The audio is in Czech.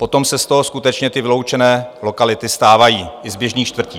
Potom se z toho skutečně ty vyloučené lokality stávají i z běžných čtvrtí.